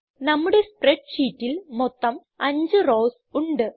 നമ്മുടെ സ്പ്രെഡ് ഷീറ്റിൽ മൊത്തം 5 റൌസ് ഉണ്ട്